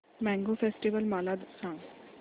mango festival मला सांग